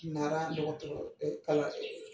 Nara dɔgɔtɔ kalan